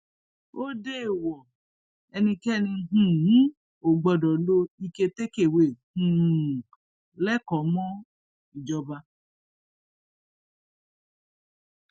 ó déèwọ ẹnikẹni um ò gbọdọ lo ike takewé um lẹkọọ mọ ìjọba